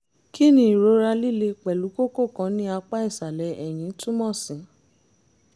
kí ni ìrora líle pẹ̀lú kókó kan ní apá ìsàlẹ̀ ẹ̀yìn túmọ̀ sí?